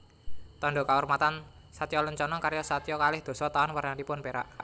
Tandha Kaurmatan satyalencana karya satya kalih dasa Taun wernanipun perak